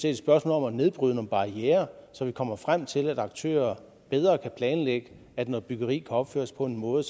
et spørgsmål om at nedbryde nogle barrierer så vi kommer frem til at aktører bedre kan planlægge at noget byggeri kan opføres på en måde